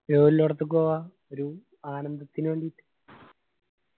view ഇല്ലടത്തിക്ക് പോവാ ഒരു ആനന്ദത്തിന് വേണ്ടിയിട്ട്.